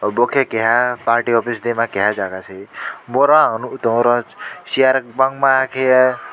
bo khe keha party office dehma keha jaga se boro ang nukgui tongo oro chair bangma kheye.